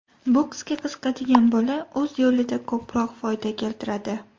Boksga qiziqadigan bola, o‘z yo‘lida ko‘proq foyda keltiradi.